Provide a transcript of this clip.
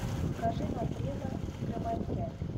покажи на древо взгромоздясь